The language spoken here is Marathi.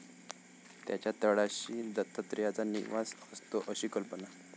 त्याच्या तळाशी दत्तात्रेयाचा निवास असतो अशी कल्पना.